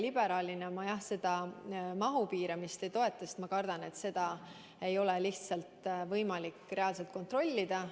Liberaalina ma seda mahu piiramist ei toeta, sest ma kardan, et seda ei ole lihtsalt võimalik reaalselt kontrollida.